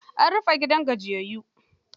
An rufe gidan gajiyayyun